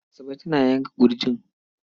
Asabe tana yanka gurjin.